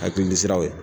Hakilisiraw ye